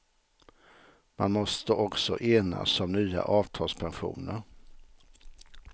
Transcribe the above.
Man måste också enas om nya avtalspensioner.